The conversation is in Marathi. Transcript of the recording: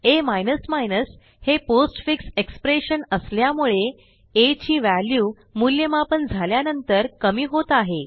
आ हे पोस्टफिक्स एक्सप्रेशन असल्यामुळे आ ची व्हॅल्यू मूल्यमापन झाल्यानंतर कमी होत आहे